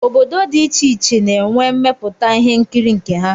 Obodo dị iche iche na-enwe mmepụta ihe nkiri nke ha